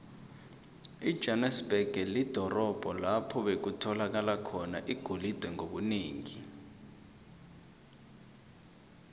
ijohanesberg lidorobho lapho bekutholakala khona igolide ngobunengi